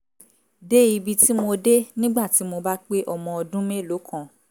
dé ibi tí mo dé nígbà tí mo bá pé ọmọ ọdún mélòó kan